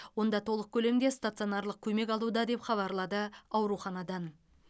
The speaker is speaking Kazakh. онда толық көлемде стационарлық көмек алуда деп хабарлады ауруханадан